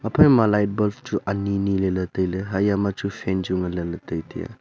aphaima light bulb chu ani ni leley tailey haiya ma chu fan chu nganle ley taitaiya.